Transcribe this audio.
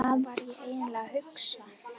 Hvað var ég eiginlega að hugsa?